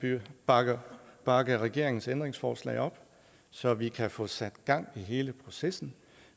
bakke bakke regeringens ændringsforslag op så vi kan få sat gang i hele processen